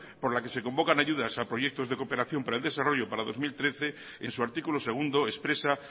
por la que se convocan ayudas a proyectos de cooperación para el desarrollo para dos mil trece en su artículo segundo expresa